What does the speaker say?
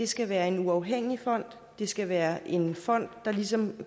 skal være en uafhængig fond det skal være en fond der ligesom